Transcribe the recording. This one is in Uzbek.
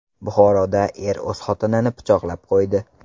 Buxoroda er o‘z xotinini pichoqlab qo‘ydi.